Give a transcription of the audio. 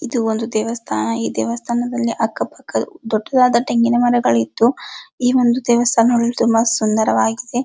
ಇದು ಒಂದು ದೇವಸ್ಥಾನ ಈ ದೇವಸ್ಥಾನದಲ್ಲಿ ಅಕ್ಕ ಪಕ್ಕ ದೊಡ್ಡದಾದ ತೆಂಗಿನ ಮರ ಇದ್ದು ಈ ಒಂದು ದೇವಸ್ಥಾನ ತುಂಬಾ ಸುನ್ದರವಾಗಿದೆ.